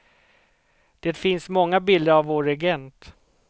Det finns många bilder av vår regent.